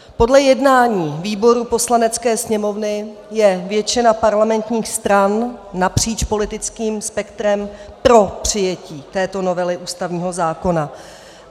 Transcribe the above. Podle jednání výborů Poslanecké sněmovny je většina parlamentních stran napříč politickým spektrem pro přijetí této novely ústavního zákona.